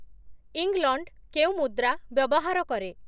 England କେଉଁ ମୁଦ୍ରା ବ୍ୟବହାର କରେ ?